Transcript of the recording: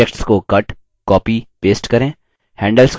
objects को cut copy paste करें